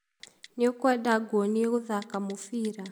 nĩũkwenda nguonĩe gũthaka mũbira?